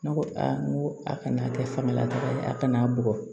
Ne ko a n ko a kana kɛ samala a kana bugɔ